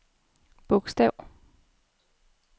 bogstav